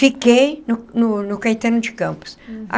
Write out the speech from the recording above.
Fiquei no no no Caetano de Campos.